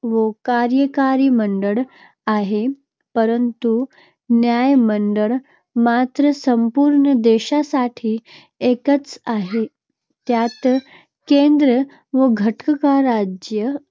व कार्यकारी मंडळ आहे. परंतु न्यायमंडळ मात्र संपूर्ण देशासाठी एकच आहे. त्यात केंद्र व घटकराज्ये.